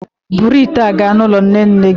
Buru ite mmiri a gaa n'ụlọ nne nne gị